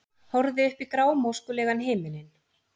Horfði upp í grámóskulegan himininn.